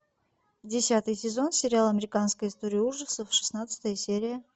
десятый сезон сериал американская история ужасов шестнадцатая серия